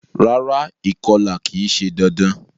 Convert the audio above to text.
Rárá, ìkolà ki se dandan